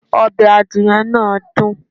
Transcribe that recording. Ọbẹ̀ adìyẹ náà dùn.